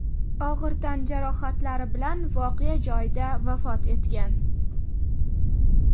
og‘ir tan jarohatlari bilan voqea joyida vafot etgan.